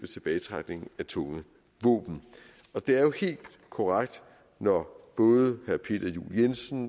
tilbagetrækningen af tunge våben det er jo helt korrekt når både herre peter juel jensen